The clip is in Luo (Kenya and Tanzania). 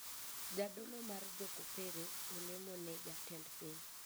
Jadolo mar jokopere olemo ne jatend piny